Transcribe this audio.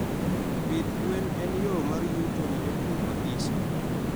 pith gwen en yoo mar yuto ne jopur mathiso